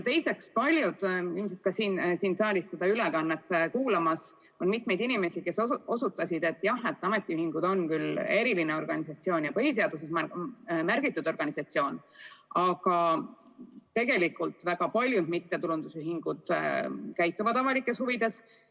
Saalis kuulavad seda ülevaadet mitmed inimesed, kes osutasid, et jah, et ametiühingud on küll eriline organisatsioon ja põhiseaduses märgitud organisatsioon, aga tegelikult väga paljud mittetulundusühingud tegutsevad avalikes huvides.